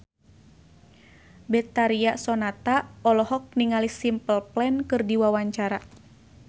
Betharia Sonata olohok ningali Simple Plan keur diwawancara